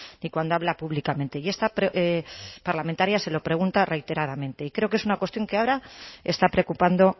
ni cuando habla públicamente y esta parlamentaria se lo pregunta reiteradamente y creo que es una cuestión que ahora está preocupando